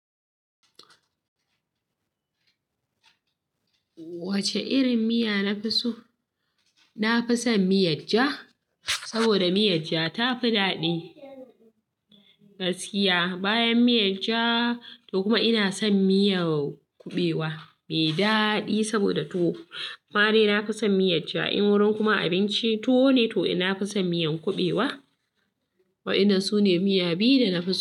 Wacce irin miya nafi so? Nafison miyar ja, saboda miyar ja tafi daɗi gaskiya. Bayan miyar ja to kuma ina son miyan kuɓewa me ɗadi saboda tuwo. Amadai nafison miyar ja, in wurin kuma abinci tuwo ne to nafison miyan kuɓewa. Wadannan su ne miya biyu da nafison.